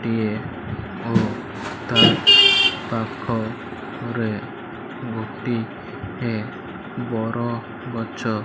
ଗୋଟିଏ ଓ ତା ପାଖ ରେ ଗୋଟିଏ ବର ଗଛ।